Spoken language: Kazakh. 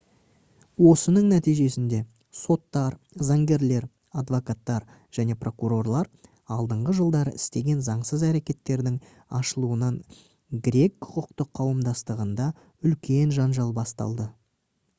осының нәтижесінде соттар заңгерлер адвокаттар және прокурорлар алдыңғы жылдары істеген заңсыз әрекеттердің ашылуынан грек құқықтық қауымдастығында үлкен жанжал басталды